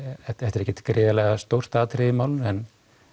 þetta er ekkert gríðarlega stórt atriði í málinu en